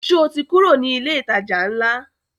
Sọ ti kúrò ní ilé ìtajà ńlá?